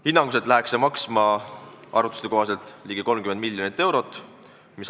Arvutuste kohaselt läheks see maksma ligi 30 miljonit eurot.